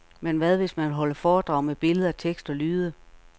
Men hvad hvis man vil holde foredrag med billeder, tekst og lyde.